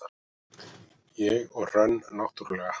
ég og Hrönn náttúrlega.